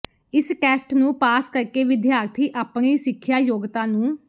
ਇਸ ਟੈਸਟ ਨੂੰ ਪਾਸ ਕਰਕੇ ਵਿਦਿਆਰਥੀ ਆਪਣੀ ਸਿੱਖਿਆ ਯੋਗਤਾ ਨੂੰ